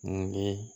N bɛ